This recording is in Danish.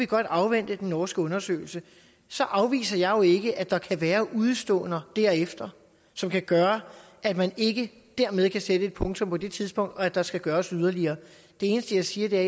godt afvente den norske undersøgelse så afviser jeg jo ikke at der kan være udeståender derefter som kan gøre at man ikke dermed kan sætte et punktum på det tidspunkt og at der skal gøres yderligere det eneste jeg siger er